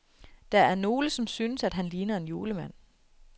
Der er nogle, som synes, at han ligner en julemand.